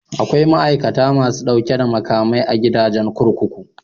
Akwai ma'aikata masu ɗauke da makamai a gidajen kurkuku.